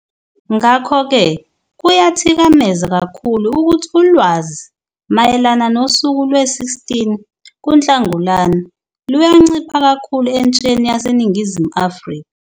Ngakho-ke kuyathikameza kakhulu ukuthi ulwazi mayelana nosuku lwe-16 kuNhlangulana luyancipha kakhulu entsheni yaseNingizimu Afrika.